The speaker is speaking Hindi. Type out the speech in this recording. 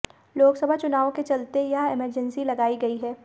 लोकसभा चुनावों के चलते यह एमर्जेंसी लगाई गई है